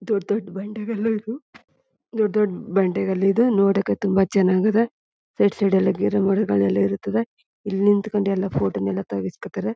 ದೊಡ್ಡ್ ದೊಡ್ಡ್ ಬಂಡೆಗಲ್ಲು ದೊಡ್ಡ್ ದೊಡ್ಡ್ ಬಂಡೆಗಲ್ಲು ಇದೆ ನೋಡೋಕೆ ತುಂಬಾ ಚನ್ನಾಗ್ ಅದ ಸೈಡ್ ಸೈಡ್ ಅಲ್ಲಿ ಗಿಡ ಮರಗಳು ಎಲ್ಲ ಇರ್ತದೆ ಇಲ್ ನಿತ್ಕೊಂಡು ಎಲ್ಲ ಫೋಟೋ ನೆಲ್ಲ ತಗ್ಸ್ಕೊತಾರೆ.